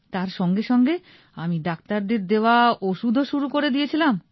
তার সঙ্গে সঙ্গে আমি ডাক্তারদের দেওয়া ওষুধ ও শুরু করে দিয়ে ছিলাম